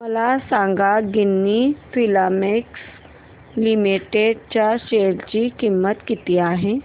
मला सांगा Ginni Filaments Limited च्या शेअर ची किंमत किती आहे